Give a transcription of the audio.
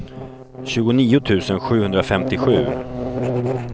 tjugonio tusen sjuhundrafemtiosju